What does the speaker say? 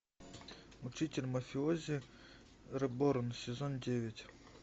учитель мафиози реборн сезон девять